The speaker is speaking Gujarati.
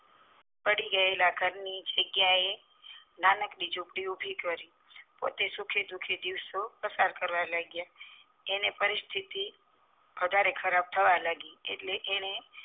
પડી ગયેલા ઘર ની જગ્યા એ નાનકડી ઝૂંપડી ઉભી કરી પોતે સુખી સુખી દિવસો પસાર કરવા લાગયા એને પરિસ્થિતિ વધારેખરાબ થવા લાગી એટલે એ